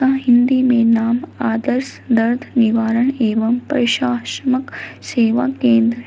हिंदी में नाम आदर्श दर्द निवारण एवं प्रशासमक सेवा केंद्र है।